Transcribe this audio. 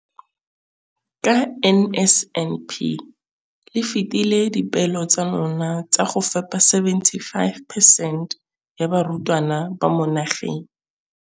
Ka NSNP le fetile dipeelo tsa lona tsa go fepa masome a supa le botlhano a diperesente ya barutwana ba mo nageng.